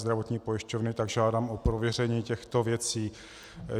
Zdravotní pojišťovny, tak žádám o prověření těchto věcí.